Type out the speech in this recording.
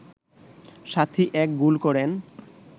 সাথী এক গোল করেন